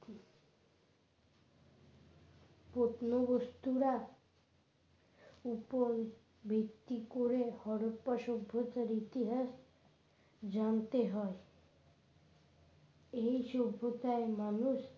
প্রত্ন বস্তুরা উপর ভিত্তি করে হরপ্পা সভ্যতার ইতিহাস জানতে হয় এই সভ্যতায় মানুষ